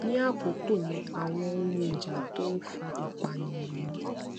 ní àkókò yẹn àwọn ohun ìjà tó ń fa ìpànìyàn ni